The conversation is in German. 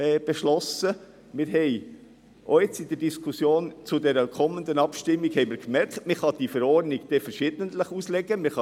Wir haben auch in der Diskussion zur kommenden Abstimmung gemerkt, dass man die Verordnung unterschiedlich auslegen kann.